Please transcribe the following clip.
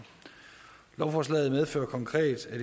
lovforslaget medfører konkret at